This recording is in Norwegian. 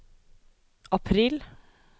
april